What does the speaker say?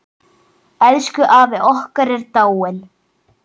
Elsku afi okkar er dáinn.